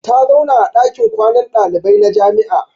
Ta zauna a dakin kwanan dalibai na jami'a.